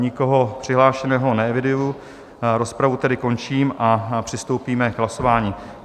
Nikoho přihlášeného neeviduji, rozpravu tedy končím a přistoupíme k hlasování.